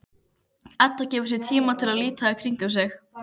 Edda gefur sér tíma til að líta í kringum sig.